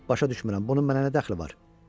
Başa düşmürəm, bunun mənə nə dəxli var?